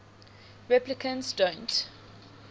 replicants don't